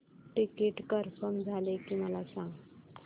ticket confirm झाले की मला सांग